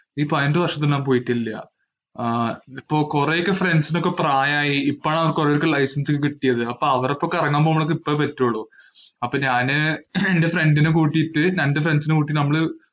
ഈ പതിനെട്ടു വര്‍ഷം ഞാന്‍ പോയിട്ടില്ല. ആഹ് ഇതിപ്പോ കൊറെയൊക്കെ friends നൊക്കെ പ്രായായി. ഇപ്പോഴാ അവര്‍ക്ക് life ചെയ്യാന്‍ കിട്ടിയത്. അവര്‍ക്കൊക്കെ കറങ്ങാന്‍ പോകാന്‍ ഇപ്പഴേ പറ്റുള്ളൂ. അപ്പൊ ഞാന് എന്‍റെ friend നെ കൂട്ടീട്ട് രണ്ടു friends നെ കൂട്ടിട്ട് നമ്മള്